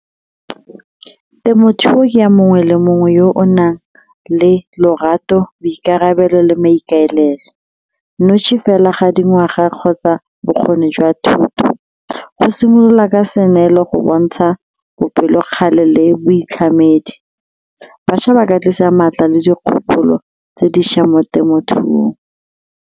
Temothuo ke ya mongwe le mongwe yo o nang le lorato, boikarabelo le maikaelelo, fela ga dingwaga kgotsa bokgoni jwa thuto. Go simolola ka go bontsha bopelokgale le boitlhamedi, bašwa ba ka tlisa maatla le dikgopolo tse dišwa mo temothuong.